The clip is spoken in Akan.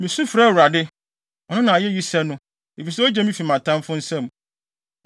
“Misu frɛ Awurade; ɔno na ayeyi sɛ no, efisɛ ogye me fi mʼatamfo nsam.